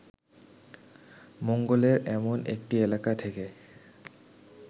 মঙ্গলের এমন একটি এলাকা থেকে